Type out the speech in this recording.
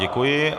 Děkuji.